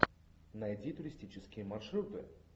найди туристические маршруты